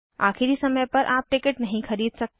आखिरी समय पर आप टिकट नहीं खरीद सकते